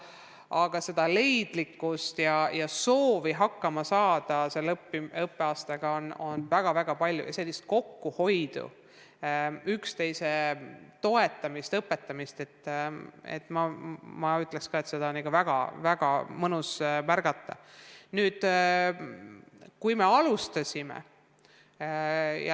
Aga leidlikkust ja soovi hakkama saada ka sel õppeaastal on olnud väga-väga palju ja sellist kokkuhoidmist, üksteise toetamist ja õpetamist on ikka väga tore näha.